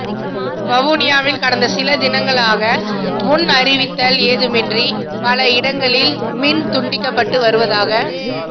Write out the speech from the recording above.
வவுனியாவில் கடந்த சில தினங்களாக முன் அறிவித்தல் ஏதுமின்றி பல இடங்களில் மின் துண்டிக்கப்பட்டு வருவதாக